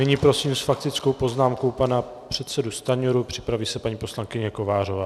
Nyní prosím s faktickou poznámkou pana předsedu Stanjuru, připraví se paní poslankyně Kovářová.